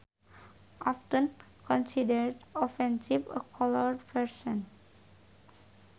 often considered offensive A coloured person